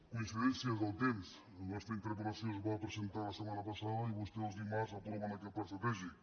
coincidències del temps la nostra interpel·lació es va presentar la setmana passada i vostès el dimarts apro·ven aquest pla estratègic